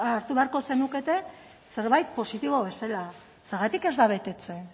hartu beharko zenukete zerbait positibo bezala zergatik ez da betetzen